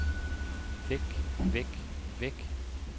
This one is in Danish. væk væk væk